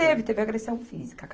Teve, teve agressão física.